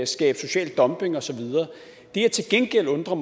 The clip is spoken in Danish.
skabe social dumping og så videre det jeg til gengæld undrer